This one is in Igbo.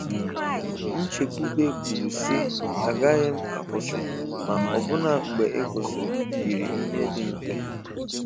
Nchekwube kwuru si agaghị m akwụsị! Ma ọbụna mgbe ịkwụsị yiri ihe dị mfe.